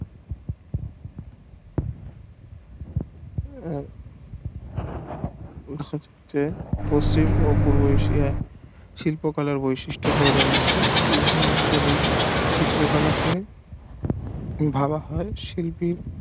আহ পশ্চিম ও পূর্ব এশিয়ার শিল্প কলার বৈশিষ্ট হয়ে দাঁড়িয়েছে কিন্তু উভয় অঞ্চলের চিত্র কলাকে বলা হয় শিল্পের